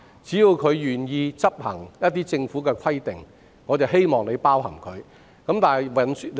只要業界願意遵行某些規定，我們希望有關計劃能夠涵蓋他們。